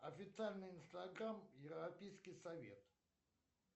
официальный инстаграм европейский совет